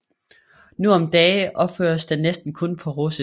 Nu om dage opføres den næsten kun på russisk